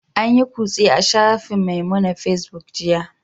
An yi kutse a shafin Memunant Facebook jiya